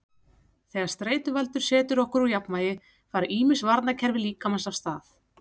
Þegar streituvaldur setur okkur úr jafnvægi fara ýmis varnarkerfi líkamans af stað.